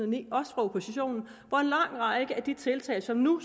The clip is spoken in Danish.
ni også fra oppositionen hvor en lang række af de tiltag som nu